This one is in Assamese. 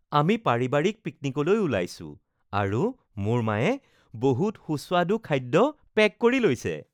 আমি পাৰিবাৰিক পিকনিকলৈ ওলাইছো আৰু মোৰ মায়ে বহুত সুস্বাদু খাদ্য পেক কৰি লৈছে।